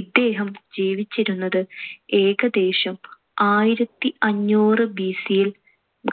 ഇദ്ദേഹം ജീവിച്ചിരുന്നത് ഏകദേശം ആയിരത്തിഅഞ്ഞൂറ് BC ൽ